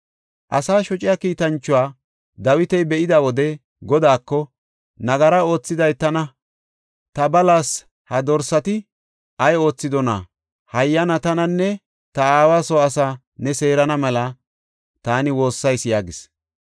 Asaa shociya kiitanchuwa Dawiti be7ida wode Godaako, “Nagaraa oothiday tana; ta balas! Ha dorsati ay oothidona? Hayyana, tananne ta aawa soo asaa ne seerana mela taani woossayis” yaagis.